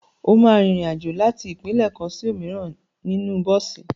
O máa rin ìrìn-àjò láti ìpínlẹ̀ kan sí òmíràn nínú bọ́ọ̀sì.